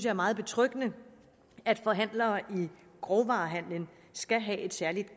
er meget betryggende at forhandlere i grovvarehandelen skal have et særligt